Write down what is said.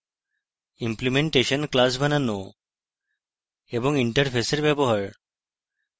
implementation classes বানানো এবং interface এর ব্যবহার